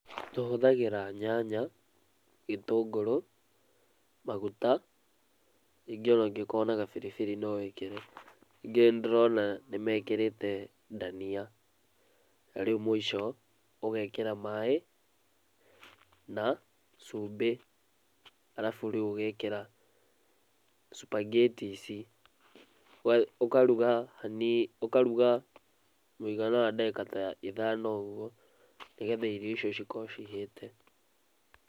Tũhũthagĩra nyanya, gĩtũngũrũ, maguta ningĩ ona ũngĩkorwo na gabirbiri no wĩkĩre. Ningĩ nĩndĩrona nĩmekĩrĩte ndania. Na rĩu mũico, ũgekĩra maĩ na cumbĩ arabu rĩu ũgekĩra Spaghetti ici. Ũkaruga haniini ũkaruga mũigana wa ndagĩka ta ithano ũguo, nĩgetha irio icio cikorwo cihĩte.